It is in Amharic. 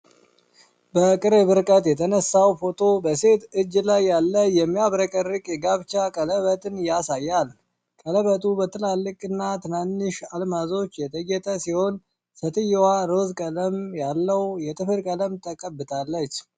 በቅርብ ርቀት የተነሳው ፎቶ በሴት እጅ ላይ ያለ የሚያብረቀርቅ የጋብቻ ቀለበትን ያሳያል። ቀለበቱ በትላልቅና ትናንሽ አልማዞች የተጌጠ ሲሆን፣ ሴትየዋ ሮዝ ቀለም ያለው የጥፍር ቀለም ቀብታለች።